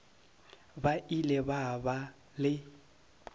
ba ile ba ba le